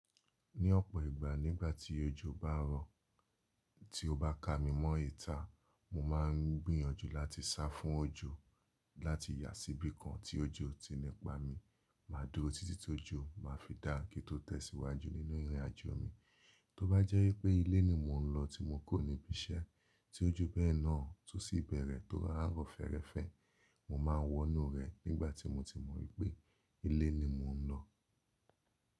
Ní ọ̀pọ̀ ìgbà nígbà tí ojò bá ń rọ̀, tí ó bá ka mi mọ́ ìta, mo máà ń gbìyànjú láti sá fún ojò, láti yà síbí kan tí ojò ti nípá mi, má a dúró títí tó jo, màá fi dáa kí i tó tẹ̀síwájú nínú ìrìnàjò mi. Tóbá jẹ́ pé ilé ni mò ń lọ tí mo kò ní ibi iṣẹ́ tí ojú bẹ́ẹ̀ náà tún sì bẹ̀rẹ̀ tó rárọ̀ fẹ́ẹ́rẹ́fẹ́, mo máa wọnú rẹ̀ nígbà tí mo ti mọ̀ wípé ilé ni mò ń lọ.